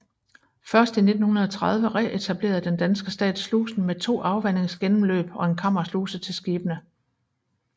Først i 1930 reetablerede den danske stat slusen med to afvandingsgennemløb og en kammersluse til skibene